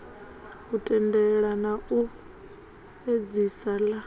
u tendelela na u edzisela